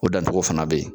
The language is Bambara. O dancogo fana be yen